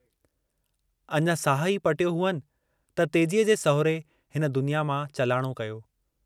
अञां साहु ई पटियो हुअनि त तेजीअ जे सहुरे हिन दुनिया मां चालाणो कयो।